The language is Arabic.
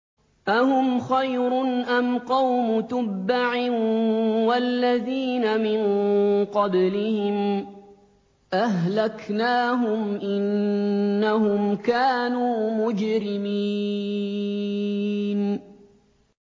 أَهُمْ خَيْرٌ أَمْ قَوْمُ تُبَّعٍ وَالَّذِينَ مِن قَبْلِهِمْ ۚ أَهْلَكْنَاهُمْ ۖ إِنَّهُمْ كَانُوا مُجْرِمِينَ